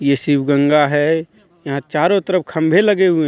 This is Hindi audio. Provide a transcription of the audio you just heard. यह शिवगंगा है यहां चारों तरफ खंभे लगे हुए हैं.